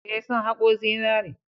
Eh, sun haƙo zinare.